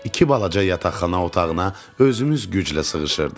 İki balaca yataqxana otağına özümüz güclə sığışırdıq.